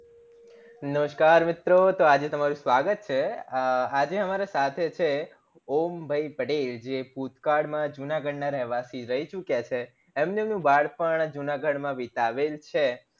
નમસ્કાર મિત્રો તો આજે તમારું સ્વાગત છે આજે અમારાં સાથે છે ઓમ ભય પટેલ જે ભૂતકાળ માં જુનાગઢ ના રહેવાસી રય ચુક્યા છે એમને એમનું બાળપણ જુનાગઢ માં વિતાવેલ છે